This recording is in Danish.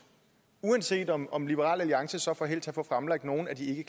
uanset om om liberal alliance så får held til at få fremlagt nogle af de